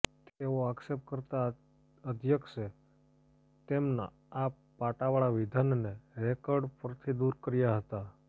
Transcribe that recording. તેવો આક્ષેપ કરતા અધ્યક્ષે તેમના આ પાટાવાળા વિધાનને રેકર્ડ પરથી દૂર કર્યા હતા